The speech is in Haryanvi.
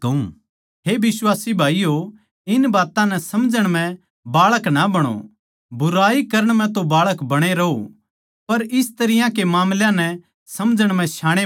हे बिश्वासी भाईयो इन बात्तां नै समझण म्ह बाळक ना बणो बुराई करण म्ह तो बाळक बणे रहो पर इस तरियां के मामलां नै समझण म्ह श्याणे बणो